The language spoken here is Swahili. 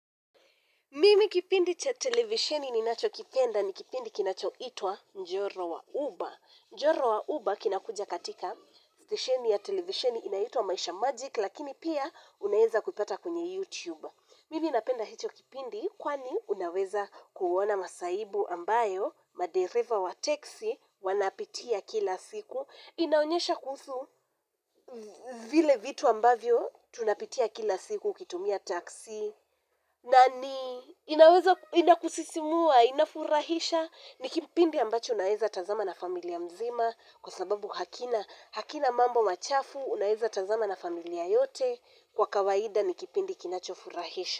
Mimi kipindi cha televisioni ninachokipenda ni kipindi kinachoitwa Njoro wa Uber. Njoro wa Uber kinakuja katika stationi ya televisioni inaitwa Maisha Magic lakini pia unaeza kuipata kwenye YouTube. Mimi napenda hicho kipindi kwani unaweza kuona masaibu ambayo, madereva wa taxi wanapitia kila siku. Inaonyesha kuhusu vile vitu ambavyo tunapitia kila siku, ukitumia taxi. Na ni, inakusisimua, inafurahisha, ni kipindi ambacho unaeza tazama na familia mzima kwa sababu hakina, hakina mambo machafu, unaeza tazama na familia yote kwa kawaida ni kipindi kinachofurahisha.